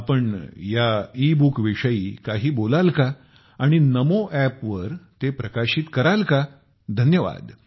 आपण या e book विषयी काही बोलाल का आणि नमो ऐप ते प्रकाशित कराल का धन्यवाद